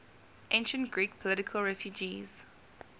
ancient greek political refugees